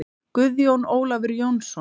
Guðjón Ólafur Jónsson